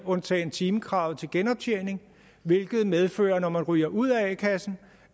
undtagen timekravet til genoptjening hvilket medfører at når man ryger ud af a kassen